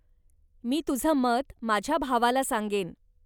मी तुझं मत माझ्या भावाला सांगेन.